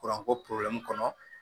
Kuranko kɔnɔ